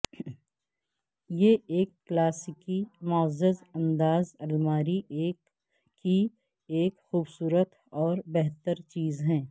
یہ ایک کلاسیکی معزز انداز الماری کی ایک خوبصورت اور بہتر چیز ہے